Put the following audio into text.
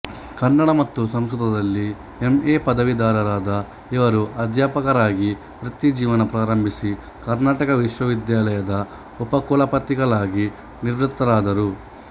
ಕನ್ನಡ ಮತ್ತು ಸಂಸ್ಕೃತದಲ್ಲಿ M A ಪದವೀಧರರಾದ ಇವರು ಅಧ್ಯಾಪಕರಾಗಿ ವೃತ್ತಿ ಜೀವನ ಪ್ರಾರಂಭಿಸಿ ಕರ್ನಾಟಕ ವಿಶ್ವವಿದ್ಯಾಲಯದ ಉಪಕುಲಪತಿಗಳಾಗಿ ನಿವೃತ್ತರಾದರು